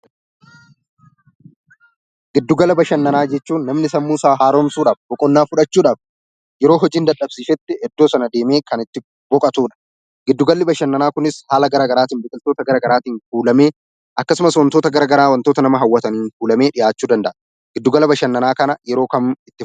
Giddugala bashannanaa jechuun namni sammuu isaa haaromsuudhaaf, boqonnaa fudhachuuf, yeroo hojiin dadhabsisetti iddoo sana deeme kan itti biqotuudha. Giddugalii bashannanaa kunis haala gara garaatin, biqiloota gara garaattin kulamee, akkasumaas waantoota gara garaa waantoota nama hawwataan kulamee dhiyaachu danda'a. Giddugala bashannaa kana yeroo kaam itti...